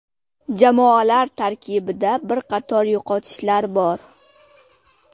Jamoalar tarkibida bir qator yo‘qotishlar bor.